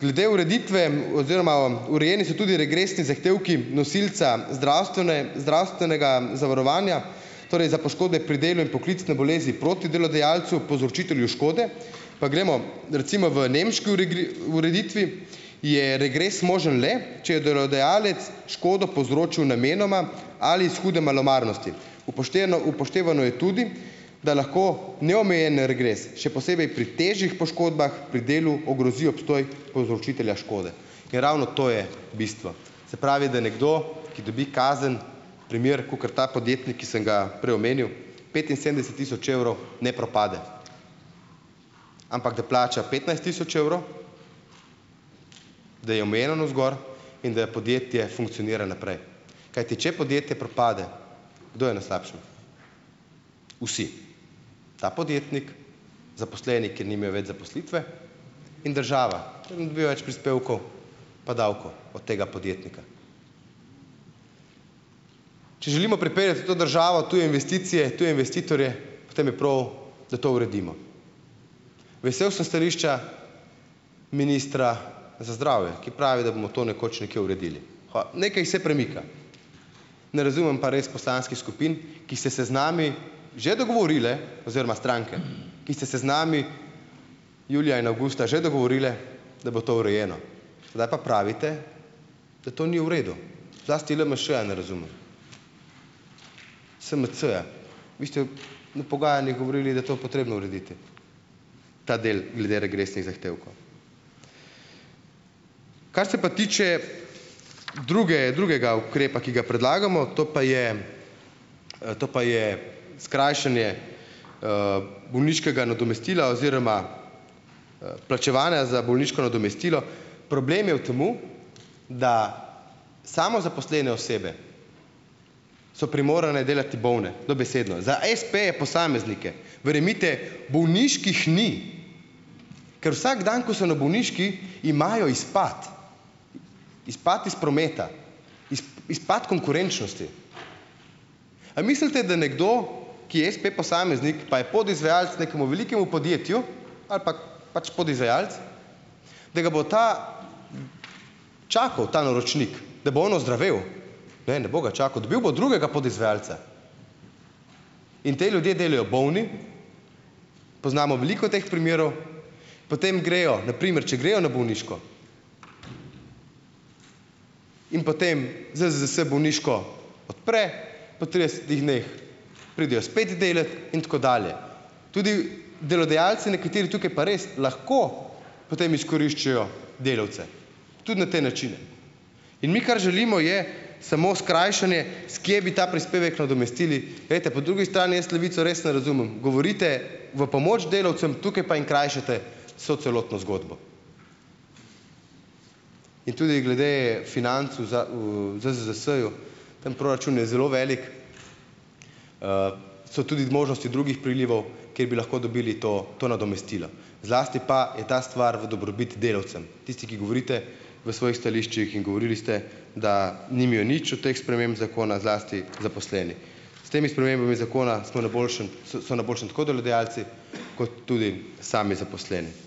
Glede ureditve oziroma urejeni so tudi regresni zahtevki nosilca zdravstvene zdravstvenega zavarovanja, torej za poškodbe pri delu in poklicne bolezni proti delodajalcu, povzročitelju škode. Pa gremo, recimo v nemški ureditvi je regres možen le, če je delodajalec škodo povzročil namenoma ali iz hude malomarnosti. Upošteno upoštevano je tudi, da lahko neomejen regres, še posebej pri težjih poškodbah pri delu, ogrozi obstoj povzročitelja škode. Ker ravno to je bistvo, se pravi, da nekdo, ki dobi kazen - primer, kakor ta podjetnik, ki sem ga prej omenil, petinsedemdeset tisoč evrov, ne propade, ampak, da plača petnajst tisoč evrov, da je omejeno navzgor in da podjetje funkcionira naprej, kajti če podjetje propade, kdo je na slabšem? Vsi, ta podjetnik, zaposleni, ker nimajo več zaposlitve, in država, več prispevkov pa davkov od tega podjetnika. Če želimo pripeljati v to državo tuje investicije, tuje investitorje, potem je prav, da to uredimo. Vesel sem stališča ministra za zdravje, ki pravi, da bomo to nekoč nekje uredili. nekaj se premika, ne razumem pa res poslanskih skupin, ki ste se z nami že dogovorile oziroma stranke, ki ste se z nami julija in avgusta že dogovorile, da bo to urejeno, zdaj pa pravite, da to ni v redu, zlasti LMŠ-ja ne razumem, SMC-ja, vi ste na pogajanjih govorili, da to potrebno urediti, ta del glede regresnih zahtevkov. Kar se pa tiče druge drugega ukrepa, ki ga predlagamo. To pa je, to pa je skrajšanje bolniškega nadomestila oziroma plačevanja za bolniško nadomestilo. Problem je v tem, da samozaposlene osebe so primorane delati bolne, dobesedno. Za espeje posameznike, verjemite, bolniških ni, ker vsak dan, ko so na bolniški, imajo izpad, izpad iz prometa, izpad konkurenčnosti. A mislite, da nekdo, ki je espe posameznik, pa je podizvajalec nekemu velikemu podjetju ali pa pač podizvajalec, da ga bo ta čakal, ta naročnik, da bo on ozdravel? Ne, ne bo ga čakal, dobil bo drugega podizvajalca in te ljudje delajo bolni. Poznamo veliko teh primerov, potem grejo, na primer, če grejo na bolniško in potem ZZZS bolniško odpre, po tridesetih dneh pridejo spet delat in tako dalje. Tudi delodajalci nekateri, tukaj pa res lahko potem izkoriščajo delavce tudi na te načine. In mi, kar želimo, je samo skrajšanje, s kje bi ta prispevek nadomestili. Glejte, po drugi strani jaz Levice res ne razumem. Govorite v pomoč delavcem, tukaj pa jim krajšate vso celotno zgodbo. In tudi glede financ v v ZZZS-ju tam proračun je zelo veliko, so tudi zmožnosti drugih prilivov, kjer bi lahko dobili to to nadomestilo. Zlasti pa je ta stvar v dobrobit delavcem. Tisti, ki govorite v svojih stališčih in govorili ste, da nimajo nič od teh sprememb zakona zlasti zaposleni. S temi spremembami zakona smo na boljšem so na boljšem tako delodajalci kot tudi sami zaposleni.